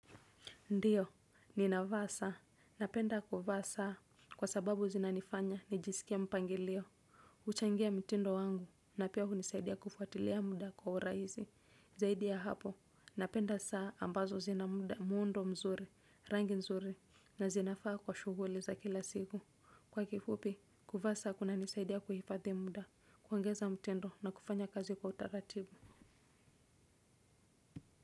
Ndiyo ninava saa napenda kuva saa kwa sababu zinanifanya nijisikie mpangilio. Uchangia mtindo wangu, na pia kunisaidia kufuatilia mda kwa uraizi. Zaidi ya hapo, napenda saa ambazo zina mda, muundo mzuri, rangi mzuri, na zinafaa kwa shuguli za kila siku. Kwa kifupi, kuvaa saa kuna nisaidia kuhifadhi mda, kuongeza mtindo na kufanya kazi kwa utaratibu.